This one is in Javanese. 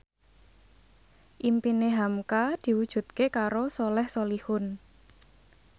impine hamka diwujudke karo Soleh Solihun